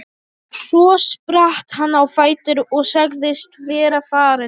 Svo spratt hann á fætur og sagðist vera farinn.